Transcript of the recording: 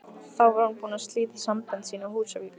Þá var hún búin að slíta sambönd sín á Húsavík.